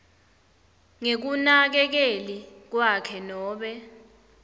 ngekunakekeli kwakhe nobe